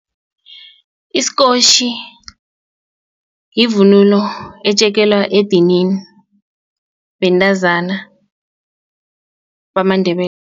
isikotjhi yivunulo etjekelwa edinini bentazana